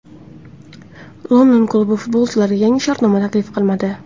London klubi futbolchiga yangi shartnoma taklif qilmadi.